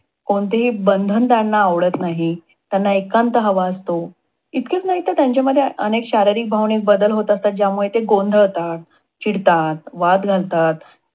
कोणतेही बंधन त्यांना आवडत नाहीत. त्यांना एकांत हवा असतो. इतकेच नाहीतर त्यांच्यामध्ये अनेक शारीरिक भावनेत बदल होत असतात, ज्यामुळे ते गोंधळतात, चिडतात, वाद घालतात.